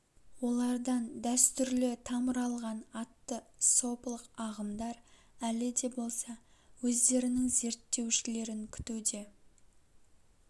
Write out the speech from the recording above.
олардан дәстүрлі тамыр алған атты сопылық ағымдар әлі де болса өздерінің зерттеушілерін күтуде